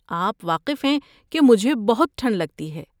آپ واقف ہیں کہ مجھے بہت ٹھنڈ لگتی ہے۔